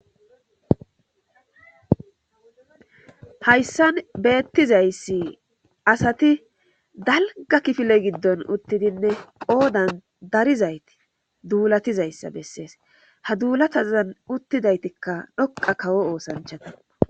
Hayssan beettizayssi asati dalga kifile giddon uttidinne qoodan darizayti duulatizayssa bessees ha duulatazan uttidaytikka dhoqa kawo oosanchataa.